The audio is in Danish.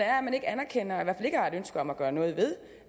er at man ikke anerkender eller ønske om at gøre noget ved